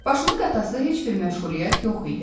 Başını qatası heç bir məşğuliyyət yox idi.